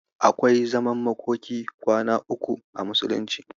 Akwai zaman makokin kwana uku a musulunci.